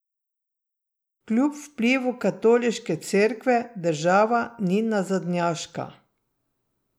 Kljub vplivu Katoliške cerkve država ni nazadnjaška.